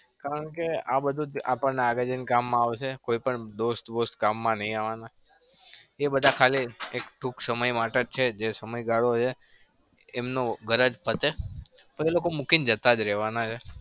કારણ કે આ બધું આપણને લાગે છે આ કામ આવશે કોઈ પણ દોસ્ત બોસ્ત કામમાં નથી આવાના. એ બધા ખાલી એક ટૂંક સમય માટે જ છે જે સમય ગાળો છે. એમને ગરજ પતે પછી એ લોકો મૂકીને જતા જ રહેવાના છે.